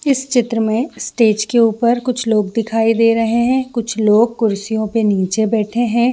इस चित्रा में स्टेज के ऊपर कुछ लोग दिखायी दे रहे हैं कुछ लोग कुर्सियों पे नीचे बैठे हैं।